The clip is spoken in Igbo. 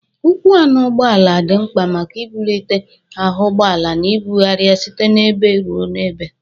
Ụkwụ anọ ụgbọala dị mkpa maka ibụlite ahụ ụgbọala na ibụgharị ya site n'ebe ruo n'ebe.